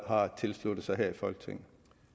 har tilsluttet sig her i folketinget